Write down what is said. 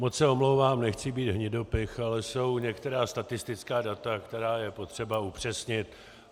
Moc se omlouvám, nechci být hnidopich, ale jsou některá statistická data, která je potřeba upřesnit.